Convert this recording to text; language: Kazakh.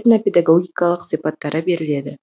этнопедагогикалық сипаттары беріледі